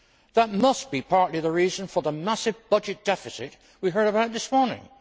That must be partly the reason for the massive budget deficit we heard about this morning.